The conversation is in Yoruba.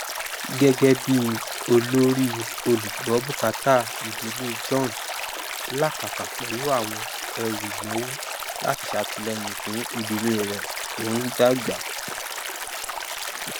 gégébí olórí olùgbọbùkátà ìdílé john làkàkà pẹlú ẹrù ìnáwó láti sàtìlẹyìn fún ìdílé rẹ tó ń dàgbà